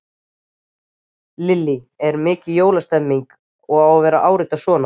Lillý: Er mikil jólastemmning að vera að árita svona?